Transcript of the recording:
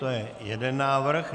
To je jeden návrh.